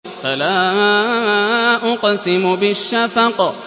فَلَا أُقْسِمُ بِالشَّفَقِ